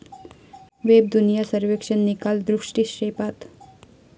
वेबदुनिया सर्वेक्षण निकाल दृष्टिक्षेपात